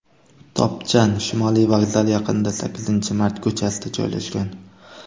Topchan Shimoliy vokzal yaqinida, Sakkizinchi mart ko‘chasida joylashgan.